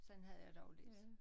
Sådan havde jeg det også lidt